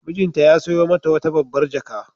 Mijinta ya sayo mata wata babbar jaka.